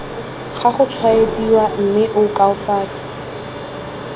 ga gotshwaediwa mme o koafatse